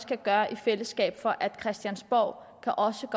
kan gøre i fællesskab for at christiansborg også